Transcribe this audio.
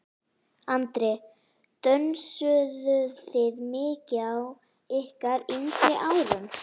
Andri: Dönsuðuð þið mikið á ykkar yngri árum?